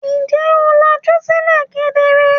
Ǹjẹ́ o làjú sílẹ̀ kedere?